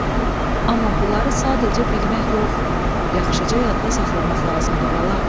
Amma bunları sadəcə bilmək yox, yaxşıca yadda saxlamaq lazımdı bala.